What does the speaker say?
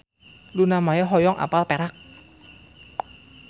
Luna Maya hoyong apal Perak